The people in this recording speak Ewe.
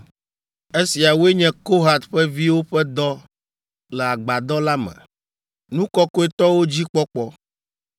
“Esiawoe nye Kohat ƒe viwo ƒe dɔ le agbadɔ la me: nu kɔkɔetɔwo dzi kpɔkpɔ.